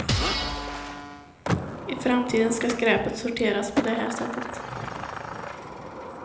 I framtiden ska skräpet sorteras på det här sättet.